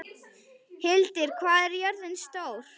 Hildir, hvað er jörðin stór?